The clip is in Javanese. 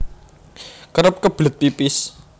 Kerep kebelet pipis